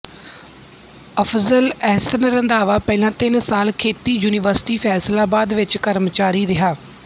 ਅਫ਼ਜ਼ਲ ਅਹਿਸਨ ਰੰਧਾਵਾ ਪਹਿਲਾਂ ਤਿੰਨ ਸਾਲ ਖੇਤੀ ਯੂਨੀਵਰਸਿਟੀ ਫ਼ੈਸਲਾਬਾਦ ਵਿੱਚ ਕਰਮਚਾਰੀ ਰਿਹਾ